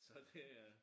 Så det